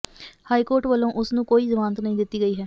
high court ਵਲੋਂ ਉਸ ਨੂੰ ਕੋਈ ਜ਼ਮਾਨਤ ਨਹੀਂ ਦਿੱਤੀ ਗਈ ਹੈ